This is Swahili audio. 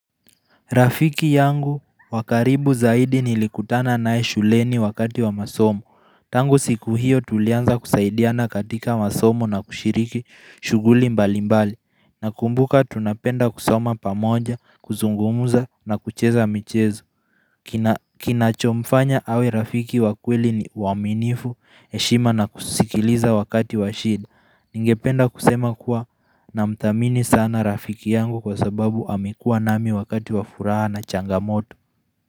Rafiki yangu wa karibu zaidi nilikutana naye shuleni wakati wa masomo Tangu siku hiyo tulianza kusaidiana katika masomo na kushiriki shughuli mbali mbali Nakumbuka tunapenda kusoma pamoja, kuzungumuza na kucheza michezo Kinachomfanya awe rafiki wa kweli ni uaminifu, heshima na kusikiliza wakati wa shinda Ningependa kusema kuwa namdhamini sana rafiki yangu kwa sababu amekuwa nami wakati wa furaha na changamoto.